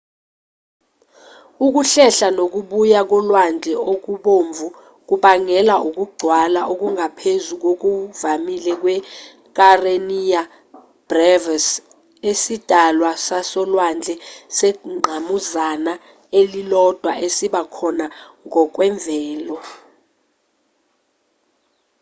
ukuhlehla nokubuya kolwandle okubomvu kubangelwa ukugcwala okungaphezu kokuvamile kwe-kareniya brevis isidalwa sasolwandle sengqamuzana elilodwa esiba khona ngokwemvelo